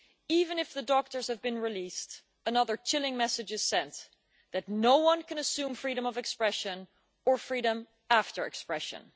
Even if the doctors have been released, another chilling message is sent that no one can assume freedom of expression, or freedom after expression.